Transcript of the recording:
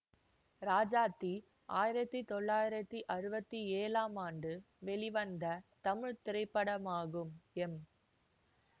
ராஜாத்தி ஆயிரத்தி தொள்ளாயிரத்தி அறுபத்தி ஏழாம் ஆண்டு வெளிவந்த தமிழ் திரைப்படமாகும் எம்